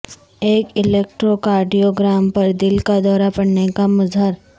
ایک الیکٹروکارڈیوگرام پر دل کا دورہ پڑنے کا مظہر